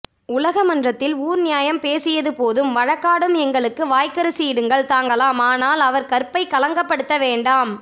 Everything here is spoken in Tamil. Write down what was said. உலகமன்றத்தில் ஊர்நியாயம் பேசியது போதும் வழக்காடும் எங்களுக்கு வாய்க்கரிசி இடுங்கள் தாங்கலாம்ஆனால் அவர் கற்பைக் களங்கப்படுத்த வேண்டாம்